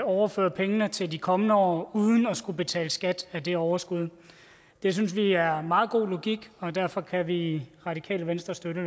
overføre pengene til de kommende år uden at skulle betale skat af det overskud det synes vi er meget god logik og derfor kan vi i radikale venstre støtte